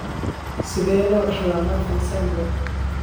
Sidee loo dhaxlaa Marfan syndrome?